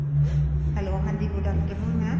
hello ਹਾਂਜੀ good afternoon maam